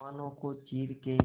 तूफानों को चीर के